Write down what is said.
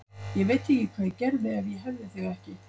Ég veit ekki hvað ég gerði ef ég hefði þig ekki.